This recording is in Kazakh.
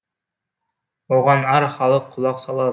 оған әр халық құлақ салады